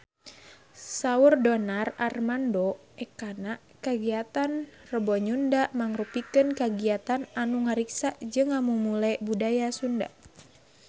Saur Donar Armando Ekana kagiatan Rebo Nyunda mangrupikeun kagiatan anu ngariksa jeung ngamumule budaya Sunda